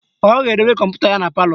Ọ ga-edobe kọmputa ya na palọ